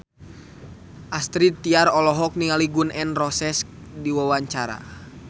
Astrid Tiar olohok ningali Gun N Roses keur diwawancara